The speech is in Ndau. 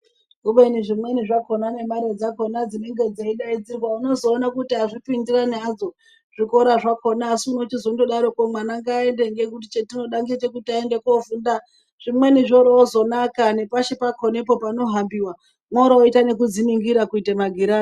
Ubeni zvimweni zvakona nemare dzakona dzinenge dzeidaidzirwa unozoone kuti azvipindirani hazvo zvikora zvakona asi wochizondodaroko mwana ngaaende ngekuti chatinoda ngechekuti aende kofunda zvimweni zvoroozonaka nepashi pakonepo panohambiwa moroita nekudziningira kuita magirazi.